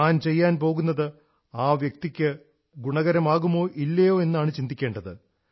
താൻ ചെയ്യാൻ പോകുന്നത് ആ വ്യക്തിക്കു ഗുണകരമാകുമോ ഇല്ലയോ എന്നാണ് ചിന്തിക്കേണ്ടത്